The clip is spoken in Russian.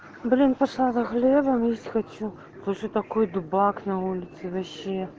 блин пошла за хлебом есть хочу слушай такой дубак на улице вообще